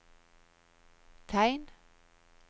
tegn